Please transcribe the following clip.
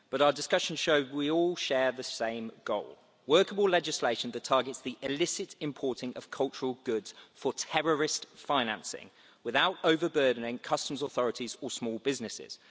But our discussion showed that we all share the same goal workable legislation that targets the illicit importing of cultural goods for terrorist financing without overburdening customs authorities or small businesses.